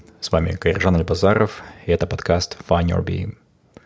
с вами кайыржан альбазаров это подкаст файндюрби